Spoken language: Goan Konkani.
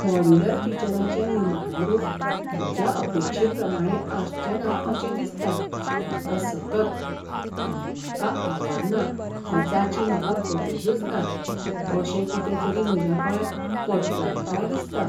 मॉड्यूलर किचनाचें निमाणें रूप म्हज्या अपेक्षेप्रमाणें आसचेंना अशें दिसता म्हाका सतत, आनी म्हाका आवडना वा जाची म्हाका गरजच ना अशें कितें तरी म्हज्या गळ्यांत पडटलें काय दिसता.